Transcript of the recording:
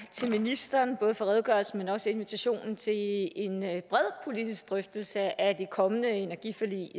til ministeren både for redegørelsen men også for invitationen til en bred politisk drøftelse af det kommende energiforlig